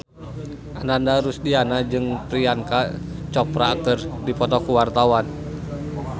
Ananda Rusdiana jeung Priyanka Chopra keur dipoto ku wartawan